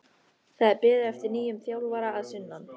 Það er beðið eftir nýjum þjálfara að sunnan.